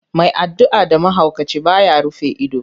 Mai addu'a da mahaukaci, ba ya rufe ido.